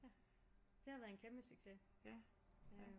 Ja det har været en kæmpe succes